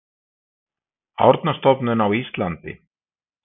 Árnastofnun á Íslandi.